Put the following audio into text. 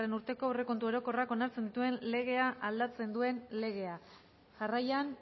urteko aurrekontu orokorrak onartzen dituen legea aldatzen duen legea jarraian